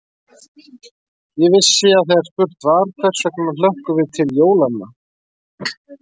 Ég vissi að þegar spurt var: hvers vegna hlökkum við til jólanna?